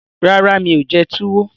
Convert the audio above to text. Rárá, mi ò jẹ túwó